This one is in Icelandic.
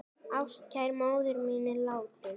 Ástkær móðir mín er látin.